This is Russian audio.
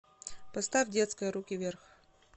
поставь детская руки вверх